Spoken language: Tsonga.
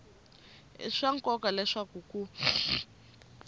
i swa nkoka leswaku ku